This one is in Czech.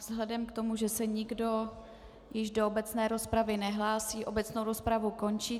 Vzhledem k tomu, že se nikdo již do obecné rozpravy nehlásí, obecnou rozpravu končím.